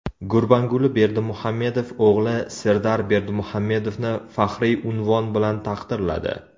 Gurbanguli Berdimuhamedov o‘g‘li Serdar Berdimuhamedovni faxriy unvon bilan taqdirladi.